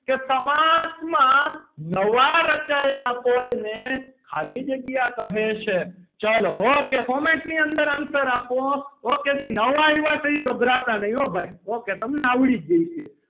કે સમાસમાં નવા રચાયેલા પદ ને ખાલી જગ્યા કહે છે ચલો okay format ની અંદર answer આપો okay જે નવા આવ્યા છે એ ગભરાતાં નહીં હો ભાઈ okay તમને આવડી જ જશે.